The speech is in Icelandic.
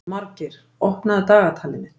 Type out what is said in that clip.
Margeir, opnaðu dagatalið mitt.